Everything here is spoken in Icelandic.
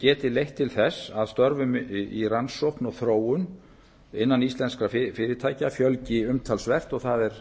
geti leitt til þess að störfum í rannsókn og þróun innan íslenskra fyrirtækja fjölgi umtalsvert og það er